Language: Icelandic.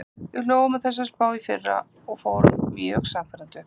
Við hlógum að þessari spá í fyrra og fórum mjög sannfærandi upp.